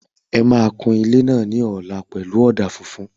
Ẹ máa kun ilé náà ní ọ̀la pẹ̀lú ọ̀dà funfun